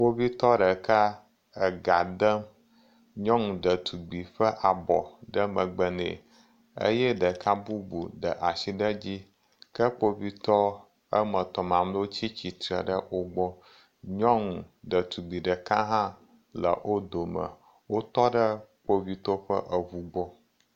Kpovitɔ ɖeka le ega ɖem nyɔnu ɖetugbui ƒe abɔ ɖe megbe ne eye ɖeka bubu de asi ɖe edzi, ke kpovitɔ eme tɔ mamlɛwo tsi tsitre wogbɔ. Nyɔnu ɖetugbui ɖeka hã le eme. Wotɔ ɖe kpovitɔ ƒe eŋu gbɔ.